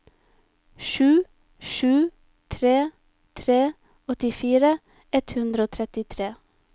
sju sju tre tre åttifire ett hundre og trettitre